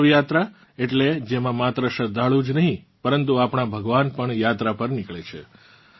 દેવ યાત્રા એટલે જેમાં માત્ર શ્રદ્ધાળુ જ નહીં પરંતુ આપણાં ભગવાન પણ યાત્રા પર નિકળે છે